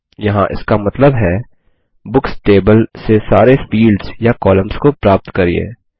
यहाँ इसका मतलब है बुक्स टेबल से सारे फील्ड्स या कॉलम्स को प्राप्त करिये